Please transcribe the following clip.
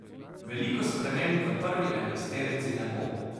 Veliko sprememb v prvi enajsterici ne bo.